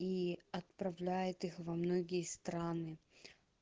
и отправляет их во многие страны